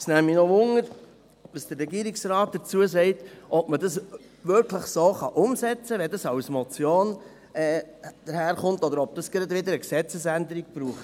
Es würde mich noch interessieren, was der Regierungsrat dazu sagt, ob man das wirklich so umsetzen kann, wenn das als Motion daherkommt, oder ob das gleich wieder eine Gesetzesänderung braucht.